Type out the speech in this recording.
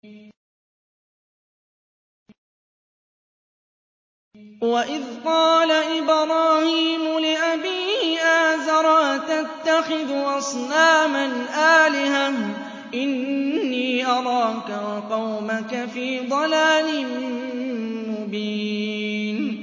۞ وَإِذْ قَالَ إِبْرَاهِيمُ لِأَبِيهِ آزَرَ أَتَتَّخِذُ أَصْنَامًا آلِهَةً ۖ إِنِّي أَرَاكَ وَقَوْمَكَ فِي ضَلَالٍ مُّبِينٍ